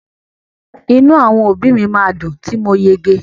Inu àwọn òbí mi ma dùn ti mo yege.